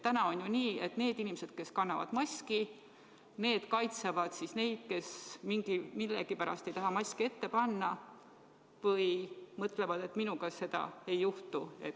Täna on ju nii, et need inimesed, kes kannavad maski, kaitsevad neid, kes millegipärast ei taha maski ette panna ja mõtlevad, et minuga seda ei juhtu.